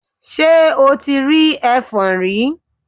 Ṣe o ti rí ẹfọ̀n rí?